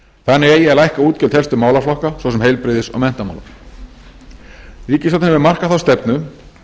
þannig eigi að lækka útgjöld helstu málaflokka svo sem heilbrigðis og menntamála ríkisstjórnin hefur markað þá stefnu